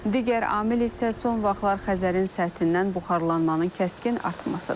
Digər amil isə son vaxtlar Xəzərin səthindən buxarlanmanın kəskin artmasıdır.